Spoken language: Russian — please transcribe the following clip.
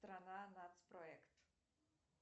страна нацпроект